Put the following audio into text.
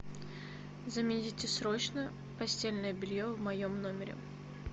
замените срочно постельное белье в моем номере